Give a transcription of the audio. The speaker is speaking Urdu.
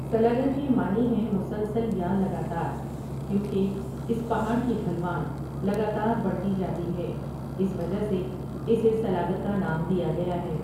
سلاگر کے معنی ہیں مسلسل یا لگاتار کیوںکہ اس پہاڑ کی ڈھلوان لگاتار بڑھتی جاتی ہے اس وجہ سے اسے سلاگر کا نام دیا گیا ہے ۔